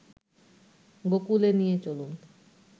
গোকূলে নিয়ে চলুন